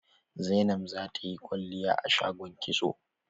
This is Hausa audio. Zainab zata yi kwalliya a shagon kitso.